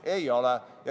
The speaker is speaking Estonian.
Ei ole.